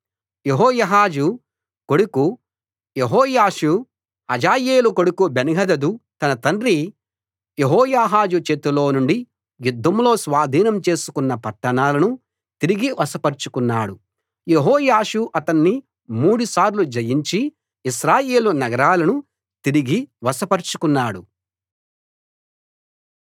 యెహోయాహాజు కొడుకు యెహోయాషు హజాయేలు కొడుకు బెన్హదదు తన తండ్రి యెహోయాహాజు చేతిలో నుండి యుద్ధంలో స్వాధీనం చేసుకున్న పట్టణాలను తిరిగి వశపరచుకున్నాడు యెహోయాషు అతణ్ణి మూడు సార్లు జయించి ఇశ్రాయేలు నగరాలను తిరిగి వశపరచుకున్నాడు